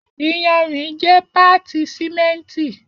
Iyanrin jẹ paati simenti